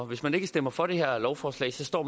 hvis man ikke stemmer for det her lovforslag står